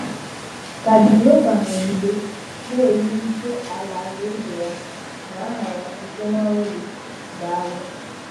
Ka Jèhòvá nọ̀gide na-ewùlìté Àlàlàèzè ya na àhà ya site n’ọrụ gị. Dàalụ